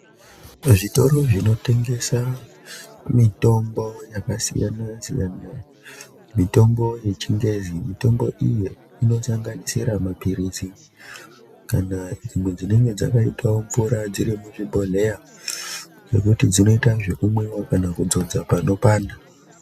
Muzvitoro zvinotengesa mitombo yakasiyana siyana, mitombo yechingezi, mitombo iyi inosanganisira mapilizi kana dzimwe dzinenge dzakaitawo mvura dziri muzvibhodhleya zvekuti dzinoita zvekumwiwa kana kudzodza panopanda.